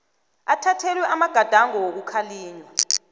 athathelwe amagadango wokukhalinywa